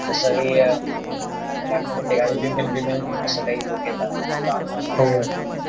थासा की अं महिलमध्ये ते काय women, women म्हणून असते कायी joke येत लहानलहान